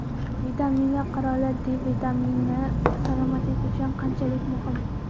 Vitaminlar qiroli: D vitamini salomatlik uchun qanchalik muhim?.